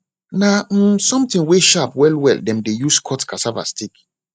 na um something wey sharp well well dem de use cut cassaa stick